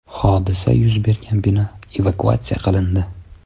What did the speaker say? Hodisa yuz bergan bino evakuatsiya qilindi.